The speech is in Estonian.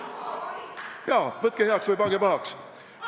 Jaa, võtke heaks või pange pahaks.